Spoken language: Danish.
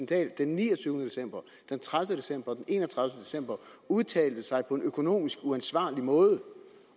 dahl den niogtyvende december den tredive december og en og tredive december udtalte sig på en økonomisk uansvarlig måde